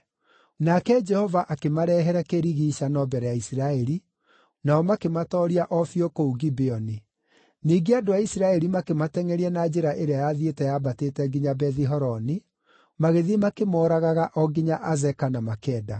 Nake Jehova akĩmarehere kĩrigiicano mbere ya Isiraeli, nao makĩmatooria o biũ kũu Gibeoni. Ningĩ andũ a Isiraeli makĩmatengʼeria na njĩra ĩrĩa yathiĩte yambatĩte nginya Bethi-Horoni, magĩthiĩ makĩmooragaga o nginya Azeka na Makeda.